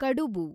ಕಡುಬು